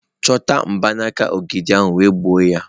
Chọta mgbanaka mgbidi ahụ wee gbuo ya!.